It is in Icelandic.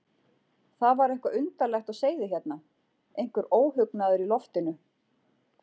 Það var eitthvað undarlegt á seyði hérna, einhver óhugnaður í loftinu.